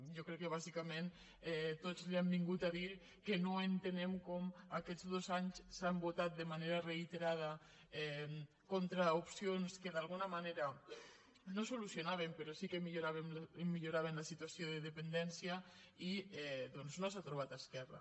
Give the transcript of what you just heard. jo crec que bàsicament tots li han vingut a dir que no entenem com en aquests dos anys han votat de manera reiterada contra opcions que d’alguna manera no solucionaven però sí que milloraven la situació de dependència i doncs no s’hi ha trobat esquerra